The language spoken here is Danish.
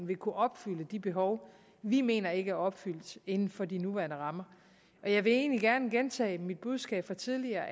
vil kunne opfylde de behov vi mener ikke er opfyldt inden for de nuværende rammer jeg vil egentlig gerne gentage mit budskab fra tidligere